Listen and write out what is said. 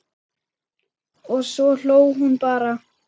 Og svo hló hún bara.